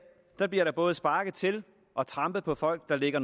bliver der både sparket til og trampet på folk der ligger